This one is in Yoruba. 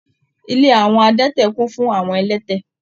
Ilé àwọn adẹ́tẹ̀ kún fún àwọn ẹlẹ́tẹ̀.